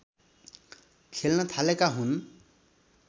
खेल्न थालेका हुन्